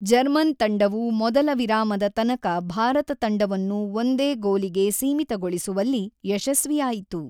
German ತಂಡವು ಮೊದಲ ವಿರಾಮದ ತನಕ ಭಾರತ ತಂಡವನ್ನು ಒಂದೇ ಗೋಲಿಗೆ ಸೀಮಿತಗೊಳಿಸುವಲ್ಲಿ ಯಶಸ್ವಿಯಾಯಿತು.